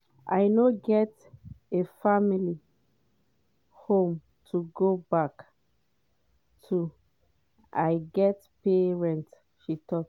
i no get a [family] home to go back to i get pay rent” she tok.